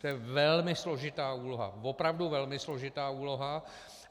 To je velmi složitá úloha, opravdu velmi složitá úloha.